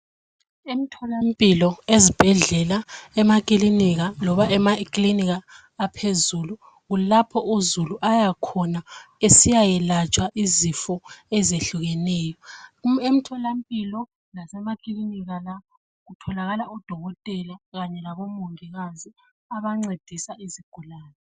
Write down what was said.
Emtholampilo, ezibhedlela, emakilinika loba emakilinika aphezulu kulapho uzulu ayakhona esiyayelatshwa izifo ezehlukeneyo. Emtholampilo lasemakilinika lapho kutholakala odokotela kanye labomongikazi abancedisa izigulane.